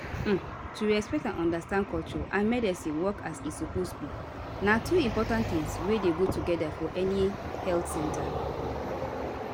um to respect and understand culture and medicine work as e suppose be na two important tings wey dey go together for any health center